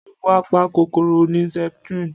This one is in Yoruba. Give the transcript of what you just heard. Ògùn apa kòkòrò ni Septrin